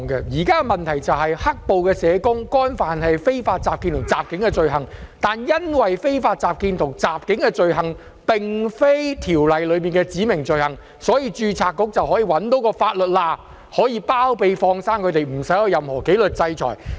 現在的問題是"黑暴"社工干犯了非法集結和襲警等罪行，但因為非法集結和襲警並非《條例》內的指明罪行，所以註冊局找到"法律罅"來包庇和"放生"有關人士，免他們面對任何紀律制裁。